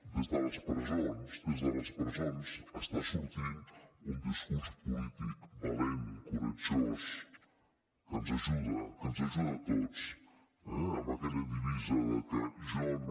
des de les presons des de les presons està sortint un discurs polític valent coratjós que ens ajuda que ens ajuda a tots eh amb aquella divisa de que jo no